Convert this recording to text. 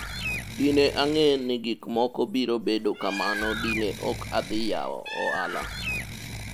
dine ang'e ni gik moko biro bedo kamano dine ok adhi yawo ohala